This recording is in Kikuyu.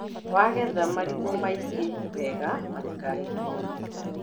Wagetha marigũ maige wega matikahihinyane.